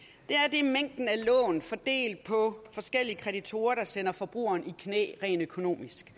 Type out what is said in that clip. er mængden af lån fordelt på forskellige kreditorer der sender forbrugeren i knæ rent økonomisk